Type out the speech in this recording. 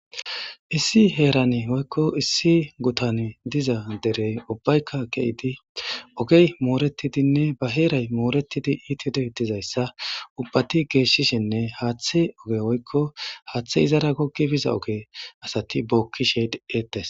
issi heerani oykko issi gutan diza derey ubbaykka keidi ogey mooretidinne ba heeray mooretidi iitide dizayssa ubbati geeshshishinne haaththe oge oykko haaththe izara gogi biza oge asati bookkisheed eetes